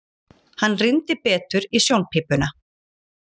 Hann rýndi betur í sjónpípuna.